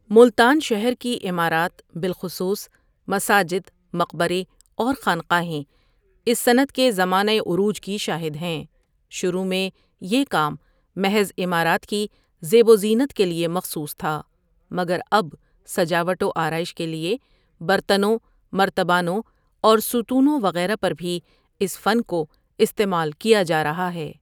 ملتان شہر کی عمارات بالخصوص مساجد مقبرے اور خانقاہیں اس صنعت کے زمانہ عروج کی شاہد ہیں شروع میں یہ کام محض عمارات کی زیب و زینت کے لیے مخصوص تھا مگر اب سجاوٹ و آراٸش کے لیے برتنوں، مرتبانوں اور ستونوں وغیرہ پر بھی اس فن کو استعمال کیا جا رھا ھے۔